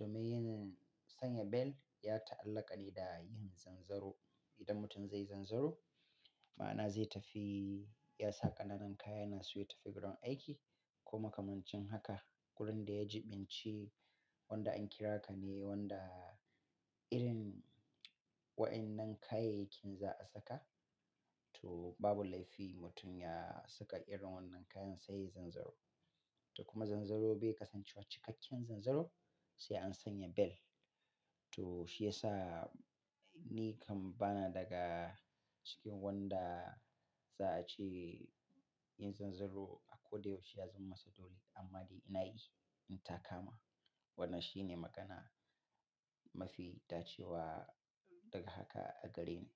Domin yin sanya bel ya ta'allaka ne da yin zanzaro. Idan mutum zai zanzaro, ma'ana zai tafi ya sa ƙananan kaya yana so ya tafi gurin aiki ko makamancin haka. Kurin da ya jiɓinci wanda an kira ka ne wanda irin waɗannan kayayyakin za a saka. To babu laifi mutum ya saka irin wannan kayan sai yayi zanzaro. To kuma zanzaro bai kasancewa cikakken zanzaro sai an sanya bel. To shi ya sa ni kam bana daga cikin wanda za a ce yin zanzaro a ko da yaushe ya zama masa dole, amma dai ina yi in takama. Wannan shi ne magana mafi dacewa daga haka a gareni.